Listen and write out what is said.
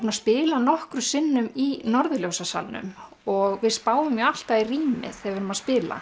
að spila nokkrum sinnum í og við spáum nú alltaf í rýmið þegar við erum að spila